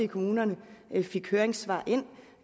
kommunerne